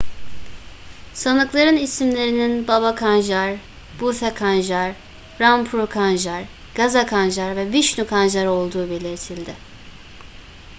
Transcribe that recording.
sanıkların isimlerinin baba kanjar bhutha kanjar rampro kanjar gaza kanjar ve vishnu kanjar olduğu belirtildi